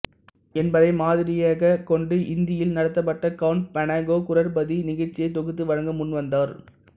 என்பதை மாதிரியகக் கொண்டு இந்தியில் நடத்தபட்ட கவுன் பனேகா குரோர்பதி நிகழ்ச்சியை தொகுத்து வழங்க முன் வந்தார்